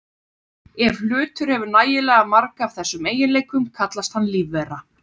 Ef hlutur hefur nægilega marga af þessum eiginleikum kallast hann lífvera.